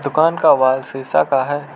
दूकान का वॉल शिशा का है।